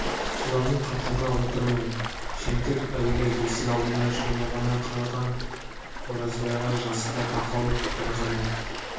солардың қатарына отырмай жемтік әуелі есік алдына жүгіне ғана қалған оразбайға жасы да тақау бірі ғана